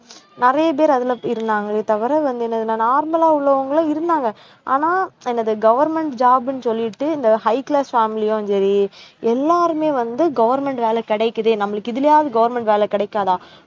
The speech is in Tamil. நிறைய பேர் அதுல இருந்தாங்களே தவிர வந்து என்னதுன்னா normal லா உள்ளவங்களும் இருந்தாங்க ஆனா என்னது government job ன்னு சொல்லிட்டு இந்த high class family யும் சரி எல்லாருமே வந்து government வேலை கிடைக்குது நம்மளுக்கு இதுலயாவது government வேலை கிடைக்காதா